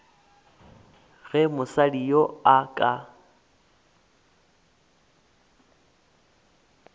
ge mosadi yoo a ka